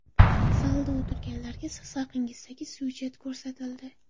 Zalda o‘tirganlarga siz haqingizdagi syujet ko‘rsatildi.